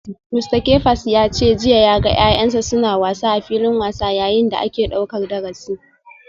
Mista Kefas ya ce jiya ya ga ‘ya’yansa suna wasa a filin wasa yayin da ake daukar darasi.